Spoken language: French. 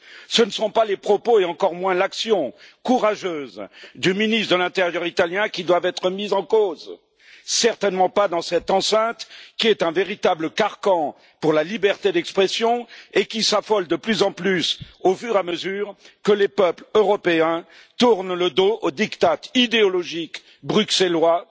Ce ne sont pas les propos, et encore moins l'action courageuse du ministre de l'intérieur italien qui doivent être mis en cause, certainement pas dans cette enceinte qui est un véritable carcan pour la liberté d'expression et qui s'affole de plus en plus au fur et à mesure que les peuples européens tournent le dos aux diktats idéologiques bruxellois,